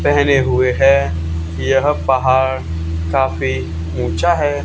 पहने हुए हैं यह पहाड़ काफी ऊँचा हैं।